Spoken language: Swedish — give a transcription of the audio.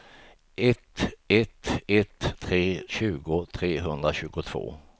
ett ett ett tre tjugo trehundratjugotvå